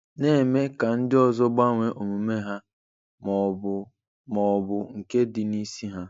Na-eme ka ndị ọzọ gbanwee omume ha ma ọ bụ ma ọ bụ nke dị n'isi ha.